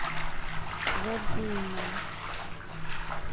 вадимом